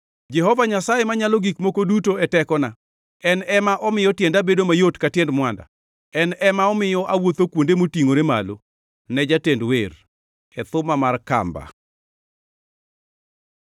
Jehova Nyasaye Manyalo Gik Moko Duto e tekona; en ema omiyo tienda bedo mayot ka tiend mwanda, en ema omiyo awuotho kuonde motingʼore malo. Ne jatend wer. E thuma mar kamba.